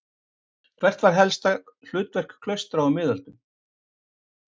Hvert var helsta hlutverk klaustra á miðöldum?